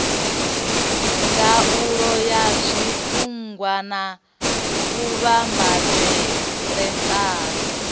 ndaulo ya zwiṱunḓwa na vhuvhambadzelaseli